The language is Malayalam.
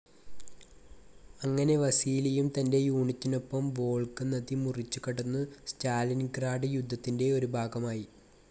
അങ്ങനെ വസീലിയും തന്റെ യൂണിറ്റിനൊപ്പം വോൾഗ നദി മുറിച്ചു കടന്നു സ്റ്റാലിൻഗ്രാഡ് യുദ്ധത്തിന്റെ ഒരു ഭാഗമായി.